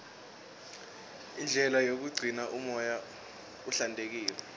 indlela yokugcina umoya uhlantekile